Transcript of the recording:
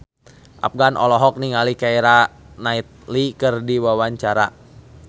Afgan olohok ningali Keira Knightley keur diwawancara